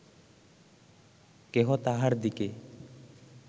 কেহ তাঁহার দিকে